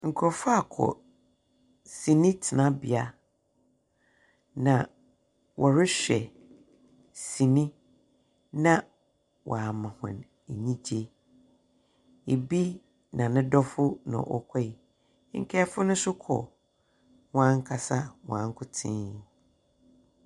Nkorɔfo akɔ sini tsenabea na wɔrohwɛ sini na wɔama hɔn enyigye. Bi na no dɔfo na wɔkɔree, nkaafo no so kɔ hɔnankasa hɔnankotsee.